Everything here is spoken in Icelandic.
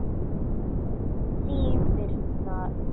Þín Birna Vigdís.